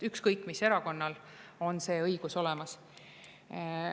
Ükskõik mis erakonnal on see õigus olemas.